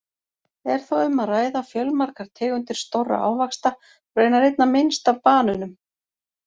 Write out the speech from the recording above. Er þá um að ræða fjölmargar tegundir stórra ávaxta, raunar einna minnst af banönum!